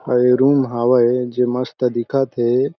अउ ए रूम हावय जो मस्त दिखत हे।